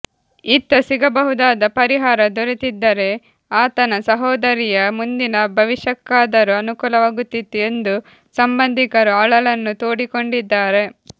ಇತ್ತ ಸಿಗಬಹುದಾದ ಪರಿಹಾರ ದೊರೆತಿದ್ದರೇ ಆತನ ಸಹೋದರಿಯ ಮುಂದಿನ ಭವಿಷ್ಯಕ್ಕಾದರೂ ಅನುಕೂಲವಾಗುತ್ತಿತ್ತು ಎಂದು ಸಂಬಂಧಿಕರು ಅಳಲನ್ನು ತೋಡಿಕೊಂಡಿದ್ದಾರೆ